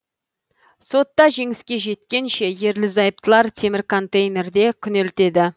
сотта жеңіске жеткенше ерлі зайыптылар темір контейнерде күнелтеді